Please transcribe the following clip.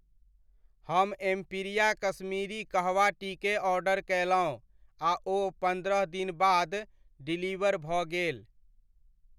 हम Empiria Kashmiri kahwa tea केँ order कयलहुँ आ ओ पन्द्रह दिन बाद डिलीवर भऽ गेल।